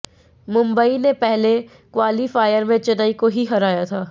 मुंबई ने पहले क्वालीफायर में चेन्नई को ही हराया था